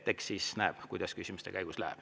Eks siis näeb, kuidas küsimuste käigus läheb.